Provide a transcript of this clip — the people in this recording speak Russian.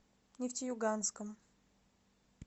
нефтеюганском